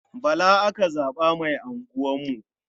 Bala aka zaɓa mai unguwarmu.